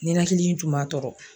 Ninakili in tun b'a tɔɔrɔ